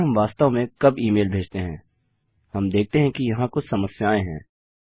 लेकिन हम वास्तव में कब ई मेल भेजते हैं हम देखते हैं कि यहाँ कुछ समस्याएं हैं